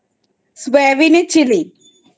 সয়াবিনে Chilli